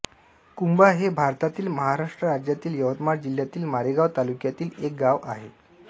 कुंभा हे भारतातील महाराष्ट्र राज्यातील यवतमाळ जिल्ह्यातील मारेगांव तालुक्यातील एक गाव आहे